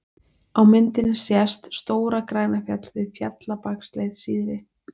Á myndinni sést Stóra-Grænafjall við Fjallabaksleið syðri.